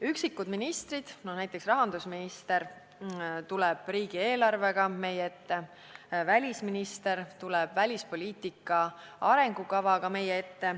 Üksikud ministrid tulevad meie ette, näiteks rahandusminister tuleb riigieelarvega ja välisminister tuleb välispoliitika arengukavaga.